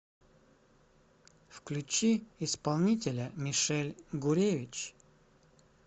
включи исполнителя мишель гуревич